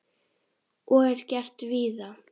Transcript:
Og er gert víða.